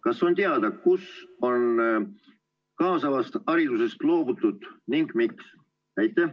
Kas on teada, kus on kaasavast haridusest loobutud ja miks?